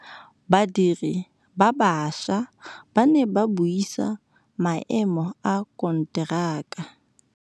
Badiri ba baša ba ne ba buisa maêmô a konteraka.